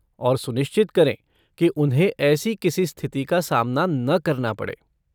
और, सुनिश्चित करें कि उन्हें ऐसी किसी स्थिति का सामना न करना पड़े।